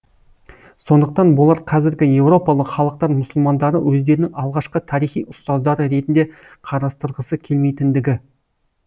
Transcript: сондықтан болар қазіргі еуропалық халықтар мұсылмандарды өздерінің алғашқы тарихи ұстаздары ретінде қарастырғысы келмейтіндігі